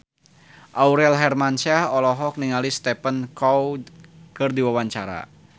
Aurel Hermansyah olohok ningali Stephen Chow keur diwawancara